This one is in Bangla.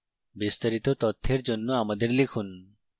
বিস্তারিত তথ্যের জন্য আমাদের লিখুন